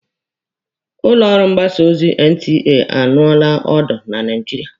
Ụlọ ọrụ mgbasa ozi NTA anụọla ọdụ na Naijiria.